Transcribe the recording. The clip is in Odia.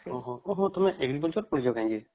ଓହୋ ତମେ agriculture ପଢିଛ ଯାଇକି!